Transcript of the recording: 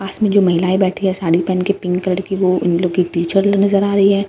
पास में जो महिलाएं बैठी है साड़ी पहन के पिंक कलर की वो उन लोग की टीचर नजर आ रही है।